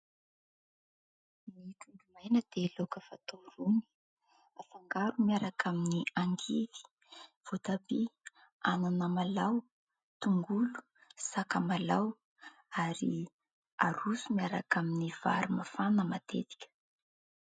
Ny trondro maina dia laoka fatao rony afangaro miaraka amin'ny angivy, voatabia, anamalaho, tongolo sakamalaho ary aroso miaraka amin'ny vary mafana matetika.